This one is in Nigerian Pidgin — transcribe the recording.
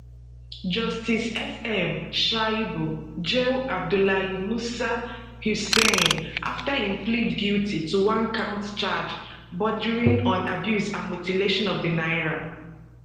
justice sm shuaibu jail abdullahi musa huseini afta im plead guilty to onecount charge bordering on abuse and mutilation of di naira